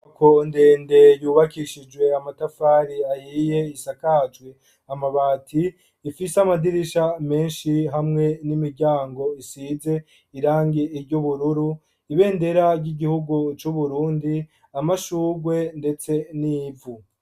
Inyubako ndende yubakishijwe amatafari ahiye isakajwi amabati ifise amadirisha menshi hamwe n'imiryango isize irangi iry'ubururu ibendera ry'igihugu c'uburundi amashugwe ndetse n'ivu.